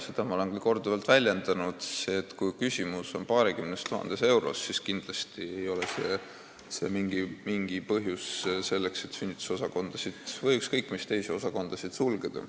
Seda ma olen ka korduvalt öelnud, et kui küsimus on paarikümnes tuhandes euros, siis kindlasti ei ole see mingi põhjus sünnitusosakond või ükskõik mis teine osakond sulgeda.